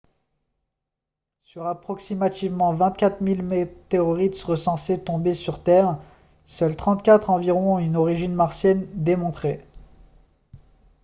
sur approximativement 24 000 météorites recensées tombées sur terre seules 34 environ ont une origine martienne démontrée